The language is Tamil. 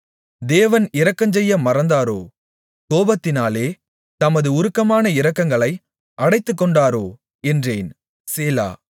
தேவன் இரக்கஞ்செய்ய மறந்தாரோ கோபத்தினாலே தமது உருக்கமான இரக்கங்களை அடைத்துக்கொண்டாரோ என்றேன் சேலா